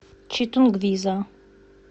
читунгвиза